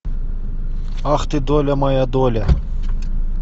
ах ты доля моя доля